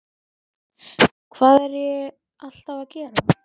Hvað er ég alltaf að gera?